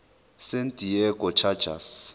san diego chargers